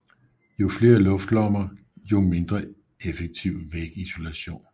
Jo flere luftlommer jo mindre effektiv vægisolation